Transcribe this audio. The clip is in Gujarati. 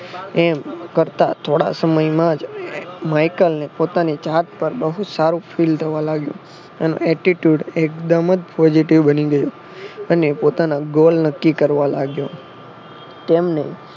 એમ કરતા થોડા સમયમાં જ માઈકલને પોતાની જાત પર બહુ સારું ફીલ થવા લાગ્યું. અને Attitude એકદમ જ positive બની ગયો અને પોતાના ગોલ નક્કી કરવા લાગ્યો. તેમને